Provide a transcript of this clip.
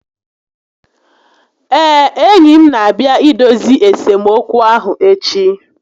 Ee, enyi m n'abịa idozi esemokwu ahụ echi